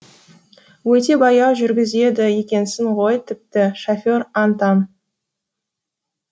өте баяу жүргізеді екенсің ғой тіпті шофер аң таң